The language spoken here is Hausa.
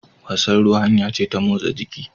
Wasan ruwa hanya ce ta motsa jiki.